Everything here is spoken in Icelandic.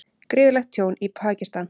Gríðarlegt tjón í Pakistan